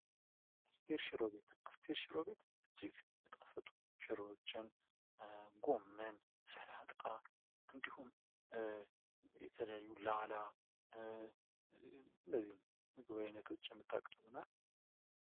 አስቴር ሽሮ ቤት አስቴር ሽሮ ቤት እጅግ በጣም ሚጣፍጥ ሽሮዎቿን ጎመን፣ ሰላጣ እንዲሁም የተለያዩ ላላ እነዚህን የምግብ ዓይነቶች የምታቀርብ ናት።